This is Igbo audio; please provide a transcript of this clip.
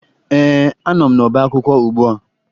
Ee, anọ m n'ọbaakwụkwọ ugbua